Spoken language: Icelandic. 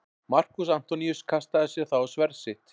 Markús Antoníus kastaði sér þá á sverð sitt.